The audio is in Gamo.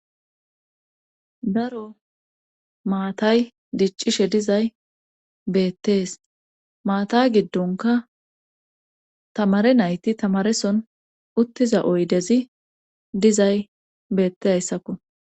daro maatay diccishe dizay beettees maata giddonka tamare nayti tamareson uttiza oydezi dizay beetteyssakko